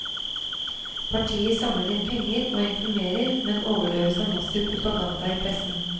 Partiet samler inn penger og informerer, men overdøves av massiv propaganda i pressen.